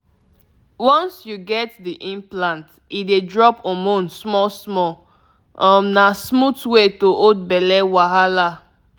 implant no dey stress person — e easy to manage so you no go dey remember every day um ah you know how e be.